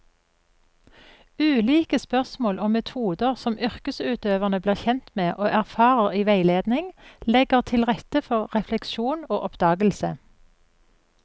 Ulike spørsmål og metoder som yrkesutøverne blir kjent med og erfarer i veiledning, legger til rette for refleksjon og oppdagelse.